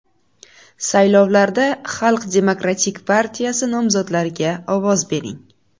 Saylovlarda Xalq demokratik partiyasi nomzodlariga ovoz bering!